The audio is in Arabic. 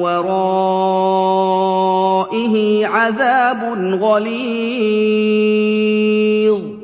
وَرَائِهِ عَذَابٌ غَلِيظٌ